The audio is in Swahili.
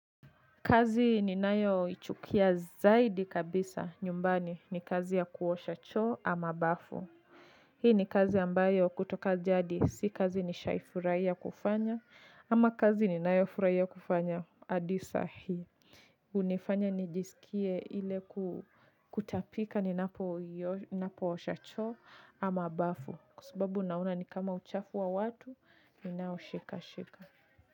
Kazi ninayoichukia zaidi kabisa nyumbani ni kazi ya kuosha cho ama bafu. Hii ni kazi ambayo kutoka jadi si kazi nishai furaiya kufanya ama kazi ninayofuraiya kufanya adi sahii. Unifanya nijisikie ile kutapika ninapoosha choo ama bafu kwa subabu naona ni kama uchafu wa watu ninao shikashika.